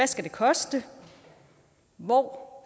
skal koste hvor